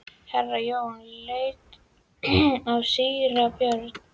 Herra Jón leit á síra Björn.